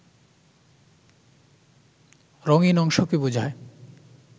রঙিন অংশকে বোঝায়